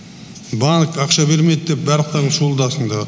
банк ақша бермейді деп барлықтарың шуылдапсыңдар